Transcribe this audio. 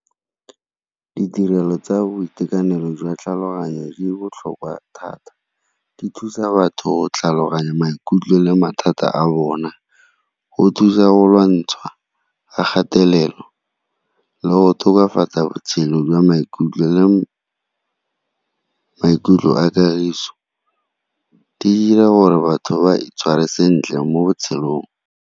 Ditirelo tsa boitekanelo jwa tlhaloganyo di botlhokwa thata. Di thusa batho tlhaloganya maikutlo le mathata a bona, go thusa go lwantsha ga kgatelelo le go tokafatsa botshelo jwa maikutlo le maikutlo a kagiso, di dira gore batho ba itshware sentle mo botshelong.